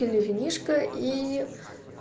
пили винишко и